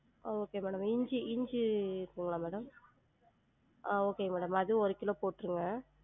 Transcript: ஆஹ் okay madam இஞ்சி இஞ்சி இருக்குங்களா madam? ஆஹ் okay madam அது ஒரு கிலோ போற்றுங்க